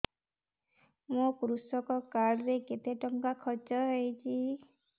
ମୋ କୃଷକ କାର୍ଡ ରେ କେତେ ଟଙ୍କା ଖର୍ଚ୍ଚ ହେଇଚି